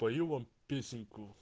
пою вам песенку